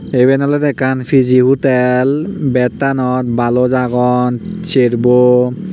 tey eben olodey ekkan P_G hotel bettanot balos agon serbo.